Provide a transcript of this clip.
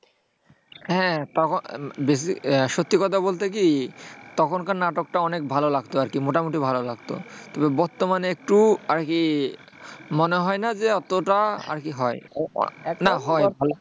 হ্যাঁ, তখন আহ ব্যাসি সত্যি কথা বলতে কি তখনকার নাটকটা অনেক ভাল লাগত আরকি, মোটামুটি ভালো লাগতো। তবে বর্তমানে একটু আরকি মনে হয় না যে অতটা আরকি হয় না হয় না, মানে